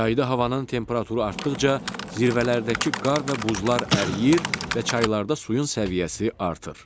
Yayda havanın temperaturu artdıqca zirvələrdəki qar və buzlar əriyir və çaylarda suyun səviyyəsi artır.